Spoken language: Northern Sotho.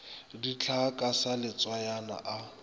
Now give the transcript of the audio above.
dihlaa ka sa letswayana a